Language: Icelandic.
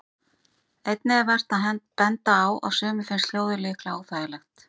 Einnig er vert að benda á að sumum finnst hljóðið líklega óþægilegt.